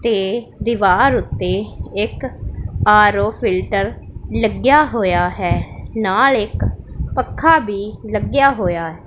ਤੇ ਦੀਵਾਰ ਉੱਤੇ ਇੱਕ ਆਰ_ਓ ਫਿਲਟਰ ਲੱਗਿਆ ਹੋਇਆ ਹੈ ਨਾਲ ਇੱਕ ਪੱਖਾ ਭੀ ਲੱਗਿਆ ਹੋਇਆ --